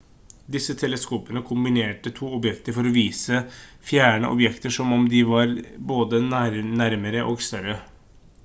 disse teleskopene kombinerte to objektiver for å vise fjerne objekter som om de var både nærmere og større